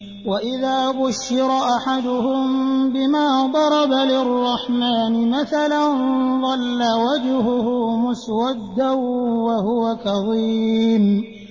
وَإِذَا بُشِّرَ أَحَدُهُم بِمَا ضَرَبَ لِلرَّحْمَٰنِ مَثَلًا ظَلَّ وَجْهُهُ مُسْوَدًّا وَهُوَ كَظِيمٌ